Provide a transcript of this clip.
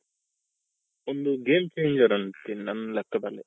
ಅಂತೀನಿ ನನ್ ಲೆಕ್ಕದಲ್ಲಿ,